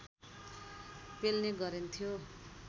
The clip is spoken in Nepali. पेल्ने गरिन्थ्यो